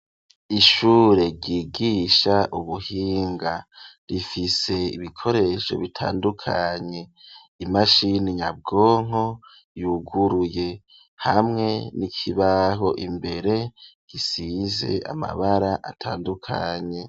Ishure ryigisha ubuhinga. Rifise ibikoresho bitandukanye. Imashini nyabwonko yuguruye, hamwe n'ikibaho. Imbere gisize amabara atandukanye.